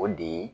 O de ye